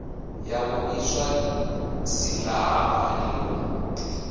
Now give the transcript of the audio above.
ya ḓo iswa silahapani u